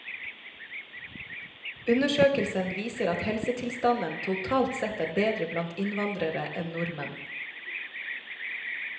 Undersøkelsen viser at helsetilstanden totalt sett er bedre blant innvandrere enn nordmenn.